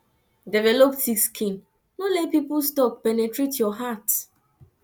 develop thick skin no let peoples talk penetrate your heart